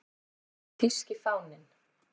Þýski fáninn